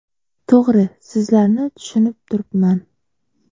To‘g‘ri, sizlarni tushunib turibman.